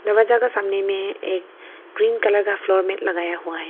जगह जगह सामने में एक ग्रीन कलर का फ्लोर में लगाया हुआ है।